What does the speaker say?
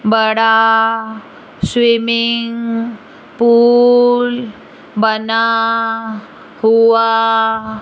बड़ा swimming pool बना हुआ --